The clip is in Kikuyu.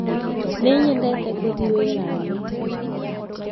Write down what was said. nĩnyendete guthie wĩra-inĩ